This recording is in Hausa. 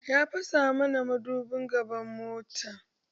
Ya fasa muna madobin gaban mota